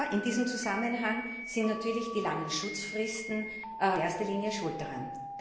In diesem Zusammenhang sind natürlich die langen Schutzfristen in erster Linie schuld daran.